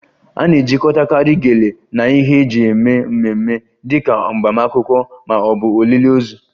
A na-ejikọtakarị Gele na ihe eji eme mmemme dị ka agbamakwụkwọ ma ọ bụ olili ozu